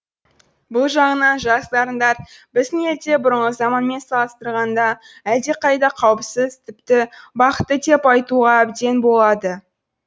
бұл жағынан жас дарындар біздің елде бұрынғы заманмен салыстырғанда әлдеқайда қауіпсіз тіпті бақытты деп айтуға әбден болады